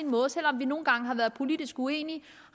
måde selv om vi nogle gange har været politisk uenige